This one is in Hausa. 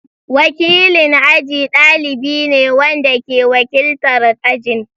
Wakilin aji dalibi ne wanda ke wakiltar ajin.